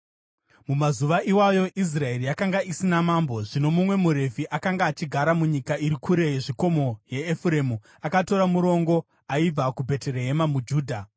Mumazuva iwayo Israeri yakanga isina mambo. Zvino mumwe muRevhi akanga achigara munyika iri kure yezvikomo yeEfuremu akatora murongo aibva kuBheterehema muJudha.